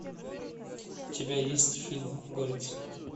у тебя есть фильм горец